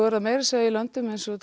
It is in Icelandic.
er það meira að segja í löndum eins og